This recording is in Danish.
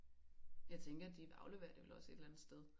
Jeg tænker at de afleverer det vel også et eller andet sted